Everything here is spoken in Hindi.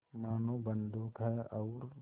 मानो बंदूक है और